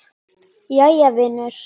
Jæja vinur.